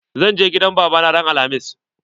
Zan je gidan baba na ran alhamis.